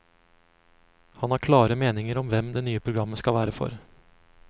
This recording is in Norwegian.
Han har klare meninger om hvem det nye programmet skal være for.